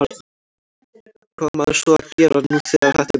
Hvað á maður svo að gera nú þegar þetta er búið?